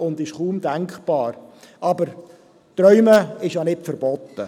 Das ist kaum denkbar, aber Träumen ist ja nicht verboten.